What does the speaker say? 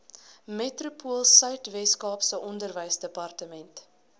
metropoolsuid weskaap onderwysdepartement